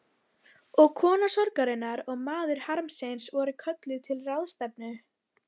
Og kona sorgarinnar og maður harmsins voru kölluð til ráðstefnu.